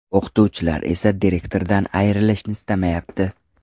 O‘qituvchilar esa direktordan ayrilishni istamayapti.